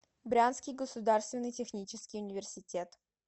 брянский государственный технический университет